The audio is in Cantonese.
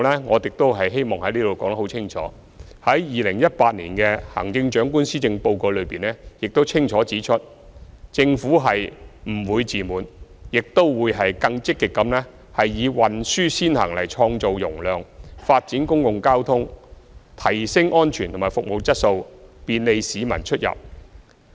我希望在此言明，在行政長官2018年施政報告中清楚指出，政府是不會自滿，亦會更積極以"運輸先行"來創造容量，發展公共交通，提升安全和服務質素，便利市民出入。